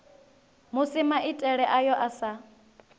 musi maitele ayo a sa